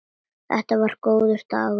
Þetta var góður dagur.